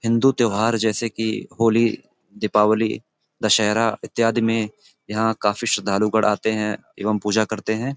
हिन्दू त्यौहार जैसे कि होली दीपावली दशहरा इत्यादि में यहाँ काफी श्रद्धालु गण आते हैं एवं पूजा करते हैं।